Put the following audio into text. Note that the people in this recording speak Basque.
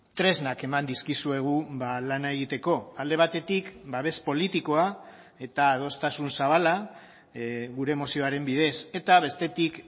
tresnak eman dizkizuegu lana egiteko alde batetik babes politikoa eta adostasun zabala gure mozioaren bidez eta bestetik